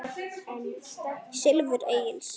Silfur Egils